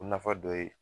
O nafa dɔ ye